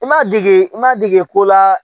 I ma dege, i m'a dege ko la